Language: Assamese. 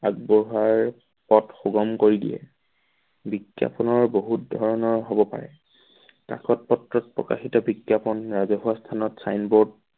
আগবঢ়াই সুগন্ধ কৰি দিয়ে। বিজ্ঞাপনৰ বহুত ধৰণৰ হব পাৰে কাকতপত্ৰত প্ৰকাশিত বিজ্ঞাপন ৰাজহুৱা স্থানত signboard